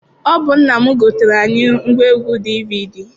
Ọ bụ nna m gotere anyị ngwaegwu DVD.